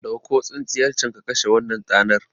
Ɗauko tsintsiyar can ka kashe wannan tanar